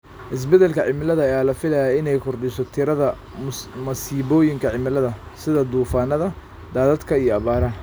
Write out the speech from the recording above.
Isbedelka cimilada ayaa la filayaa inay kordhiso tirada masiibooyinka cimilada, sida duufaannada, daadadka iyo abaaraha.